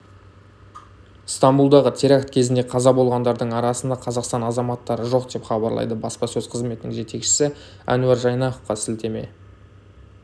стамбұлдағы теракт кезінде қаза болғандардың арасында қазақстан азаматтары жоқ деп хабарлайды баспасөз-қызметінің жетекшісі әнуар жайнақовқа сілтеме